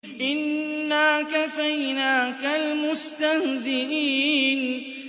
إِنَّا كَفَيْنَاكَ الْمُسْتَهْزِئِينَ